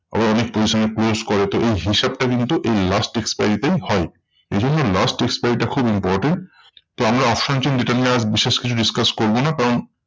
আবার অনেক position এ close করে তো এই হিসেবটা কিন্তু এই last expiry তে হয়। এইজন্যই last expiry টা খুব important. তো আমরা option chain যেটা নিয়ে আর বিশেষ কিছু discuss করবো না কারণ